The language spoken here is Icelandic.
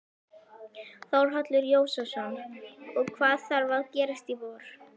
Þórhallur Jósefsson: Og það þarf að gerast í vor?